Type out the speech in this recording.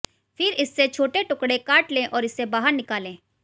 फिर इससे छोटे टुकड़े काट लें और इसे बाहर निकालें